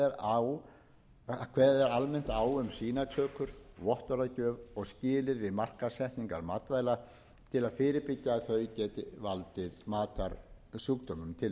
er almennt á um sýnatökur vottorðagjöf og skilyrði markaðssetningar matvæla til að fyrirbyggja að þau geti valdið matarsjúkdómum jafnframt liggja fyrir